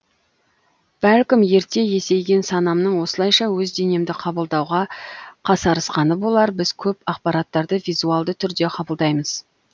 бәлкім ерте есейген санамның осылайша өз денемді қабылдауға қасарысқаны болар біз көп ақпараттарды визуалды түрде қабылдаймыз